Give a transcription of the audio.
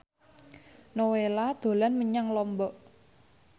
Nowela dolan menyang Lombok